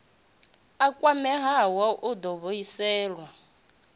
a kwameaho u ḓo vhuisela